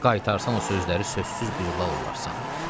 Qaytarsan o sözləri sözsüz bir lal olarsan.